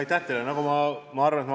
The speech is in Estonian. Aitäh teile!